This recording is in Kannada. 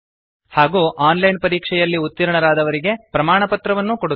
ಹಾಗೂ ಆನ್ ಲೈನ್ ಪರೀಕ್ಷೆಯಲ್ಲಿ ಉತ್ತೀರ್ಣರಾದವರಿಗೆ ಪ್ರಮಾಣಪತ್ರವನ್ನು ಕೊಡುತ್ತದೆ